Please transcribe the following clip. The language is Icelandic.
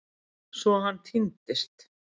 Svo hann týndist.